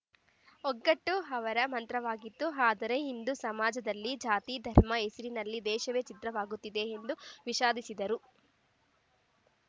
ಒಗ್ಗಟ್ಟು ಅವರ ಮಂತ್ರವಾಗಿತ್ತು ಆದರೆ ಇಂದು ಸಮಾಜದಲ್ಲಿ ಜಾತಿ ಧರ್ಮದ ಹೆಸರಿನಲ್ಲಿ ದೇಶವೇ ಛಿದ್ರವಾಗುತ್ತಿದೆ ಎಂದು ವಿಷಾದಿಸಿದರು